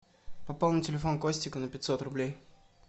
пополнить телефон костика на пятьсот рублей